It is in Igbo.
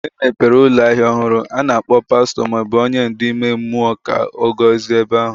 Mgbe emepere ụlọ ahịa ọhụrụ, a na-akpọ pastọ ma ọ bụ onye ndu ime mmụọ ka ọ gọzie ebe ahụ.